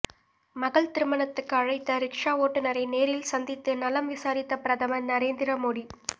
மகள் திருமணத்துக்கு அழைத்த ரிக்ஷா ஓட்டுநரை நேரில் சந்தித்து நலம் விசாரித்த பிரதமர் நரேந்திர மோடி